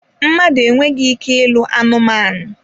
Mmadụ enweghị ike ịlụ anụmanụ.